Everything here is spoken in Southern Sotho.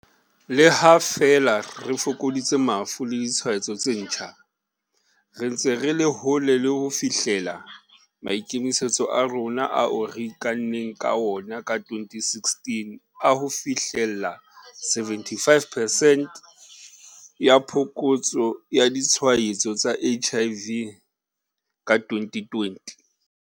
Le ha feela re fokoditse mafu le ditshwaetso tse ntjha, re ntse re le hole le hofihlella maikemisetso a rona ao re ikanneng ka ona ka 2016 a ho fihlella 75 percent ya phokotso ya ditshwaetso tsa HIV ka 2020.